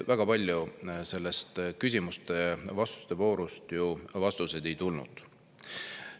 Aga kahjuks küsimuste-vastuste voorus väga palju vastuseid ei tulnud.